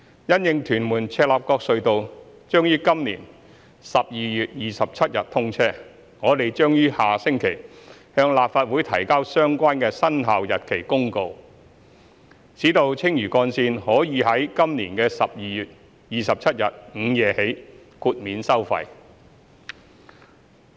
因應屯門―赤鱲角隧道將於今年12月27日通車，我們將於下星期向立法會提交相關的生效日期公告，使青嶼幹線可於今年12月27日午夜起豁免收費。